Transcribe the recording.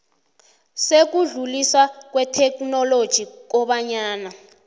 sokudluliswa kwetheknoloji kobanyana